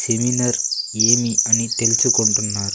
Seminar ఏమి అని తెలుసుకుంటున్నారు.